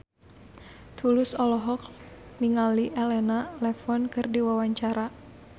Tulus olohok ningali Elena Levon keur diwawancara